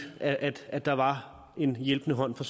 at at der var en hjælpende hånd fra